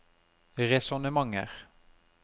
resonnementer